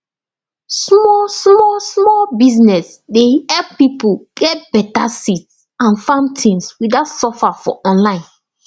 small small small business dey help pipo get beta seeds and farm things without suffer for online